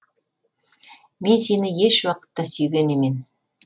мен сені еш уақытта сүйген емен